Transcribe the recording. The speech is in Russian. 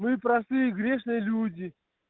мы простые грешные люди